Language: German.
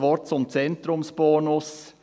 Noch ein Wort zum Zentrumsbonus: